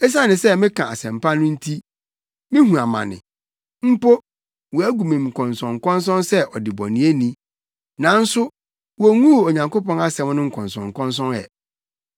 Esiane sɛ meka Asɛmpa no nti mihu amane, mpo, wɔagu me nkɔnsɔnkɔnsɔn sɛ ɔdebɔneyɛni. Nanso wonguu Onyankopɔn asɛm no nkɔnsɔnkɔnsɔn ɛ.